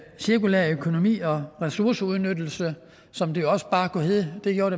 cirkulær økonomi og ressourceudnyttelse som det også bare kunne hedde det gjorde